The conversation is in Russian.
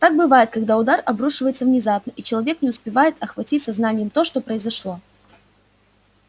так бывает когда удар обрушивается внезапно и человек не успевает охватить сознанием то что произошло